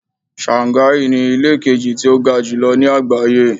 Shanghai ni ilé kejì tí ó ga jùlọ ní àgbáyé.